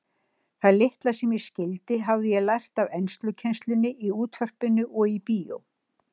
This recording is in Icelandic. Það litla sem ég skildi hafði ég lært af enskukennslunni í útvarpinu og í bíó.